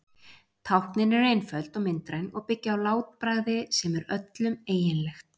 táknin eru einföld og myndræn og byggja á látbragði sem er öllum eiginlegt